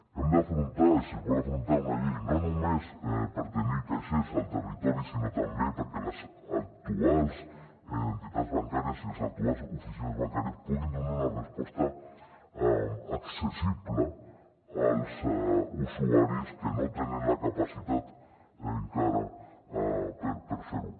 hem d’afrontar i si es vol afrontar una llei no només per tenir caixers al territori sinó també perquè les actuals entitats bancàries i les actuals oficines bancàries puguin donar una resposta accessible als usuaris que no tenen la capacitat encara per fer ho